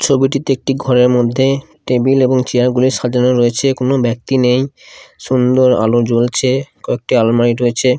ছবিটিতে একটি ঘরের মধ্যে টেবিল এবং চেয়ার -গুলি সাজানো রয়েছে কোনো ব্যক্তি নেই সুন্দর আলো জ্বলছে কয়েকটি আলমারি রয়েছে।